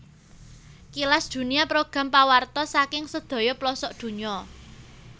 Kilas Dunia program pawartos saking sedaya plosok dunya